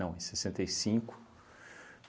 Não, em sessenta e cinco